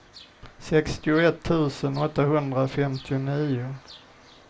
sextioett tusen åttahundrafemtionio